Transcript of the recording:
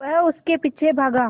वह उसके पीछे भागा